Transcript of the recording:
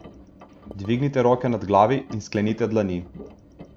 Dvignite roke nad glavi in sklenite dlani.